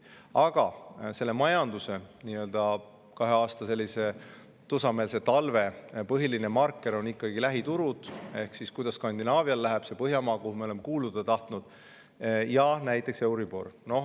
Aga majanduse nii-öelda tusameelse talve põhiline marker kahel aastal on ikkagi olnud lähiturud ehk see, kuidas läheb Skandinaavial, Põhjamaadel, kuhu me oleme kuuluda tahtnud, ja euribor.